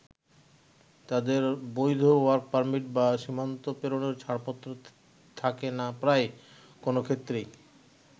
তাদের বৈধ work permit বা সীমান্ত পেরোনোর ছাড়পত্র থাকে না প্রায় কোনও ক্ষেত্রেই।